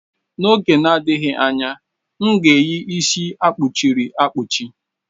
N'oge na-adịghị anya, m ga-eyi isi akpuchi ri akpuchi.